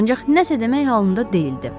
Ancaq nəsə demək halında deyildi.